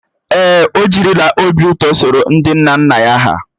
Èè, o jiriwo obi ụtọ soro ndị nna nna ya hà.